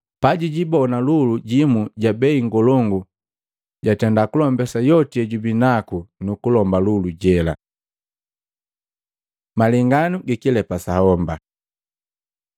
Pajijibona lulu jimu ja bei ngolongu, jajenda kulombesa yoti yejabinaku nukulomba lulu jela.” Malenganu gikilepa sa homba